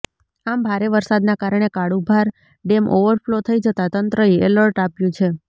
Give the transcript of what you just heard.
આમ ભારે વરસાદના કારણે કાળુભાર ડેમ ઓવરફલો થઈ જતા તંત્રએ એલર્ટ આપ્યુ છે